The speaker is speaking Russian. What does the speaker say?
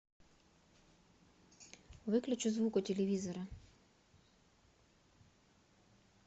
выключи звук у телевизора